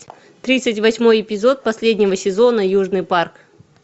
тридцать восьмой эпизод последнего сезона южный парк